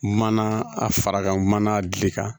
Mana a fara kan mana gili kan